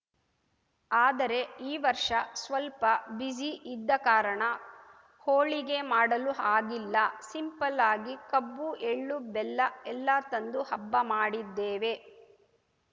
ಆದರೆ ಈ ವರ್ಷ ಸ್ವಲ್ಪ ಬಿಸಿ ಇದ್ದ ಕಾರಣ ಹೋಳಿಗೆ ಮಾಡಲು ಆಗಿಲ್ಲ ಸಿಂಪಲ್‌ ಆಗಿ ಕಬ್ಬು ಎಳ್ಳು ಬೆಲ್ಲ ಎಲ್ಲಾ ತಂದು ಹಬ್ಬ ಮಾಡಿದ್ದೇವೆ